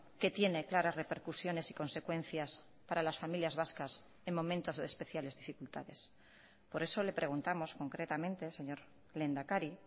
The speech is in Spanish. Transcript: que tiene claras repercusiones y consecuencias para las familias vascas en momentos de especiales dificultades por eso le preguntamos concretamente señor lehendakari